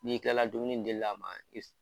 N'i kilala dumuni dilil' a ma, i bi